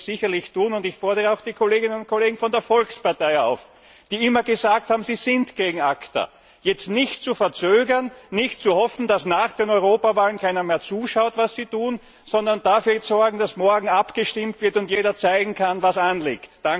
Das werde ich sicherlich tun, und ich fordere auch die Kolleginnen und Kollegen von der Volkspartei auf, die immer gesagt haben, sie sind gegen ACTA, jetzt nicht zu verzögern, nicht zu hoffen, dass nach den Europawahlen keiner mehr zuschaut, was sie tun, sondern dafür zu sorgen, dass morgen abgestimmt wird und jeder zeigen kann, was anliegt.